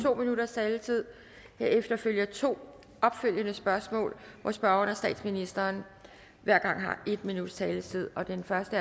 to minutters taletid herefter følger to opfølgende spørgsmål hvor spørgeren og statsministeren hver gang har en minuts taletid den første